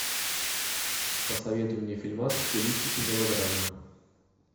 посоветуй мне фильмас в стилистике мелодрамы